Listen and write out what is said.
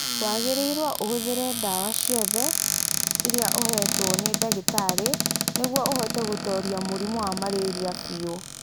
Wagĩrĩirũo ũhũthĩre ndawa ciothe iria ũheetwo nĩ ndagĩtarĩ nĩguo ũhote gũtooria mũrimũ wa malaria biũ.